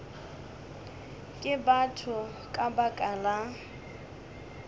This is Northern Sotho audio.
ke batho ka baka la